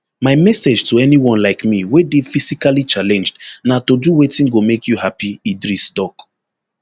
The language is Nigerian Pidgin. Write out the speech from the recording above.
my message to anyone like me wey dey physically challenged na to do wetin go make you happy idris tok